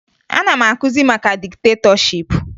Ana m akụzi maka diktetọship